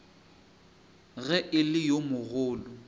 ge e le yo mogolo